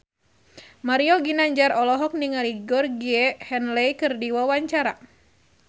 Mario Ginanjar olohok ningali Georgie Henley keur diwawancara